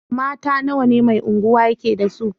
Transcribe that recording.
Mata nawa ne Mai Unguwa yake da su?